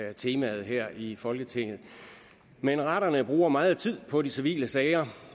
er temaet her i folketinget men retterne bruger meget tid på de civile sager